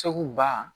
Segu ba